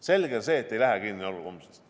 Selge on see, et ei lähe homsest kinni.